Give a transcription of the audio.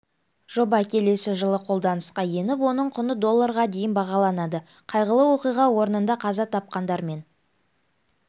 жоба келесі жылы қолданысқа еніп оның құны долларға дейін бағаланады қайғылы оқиға орнында қаза тапқандармен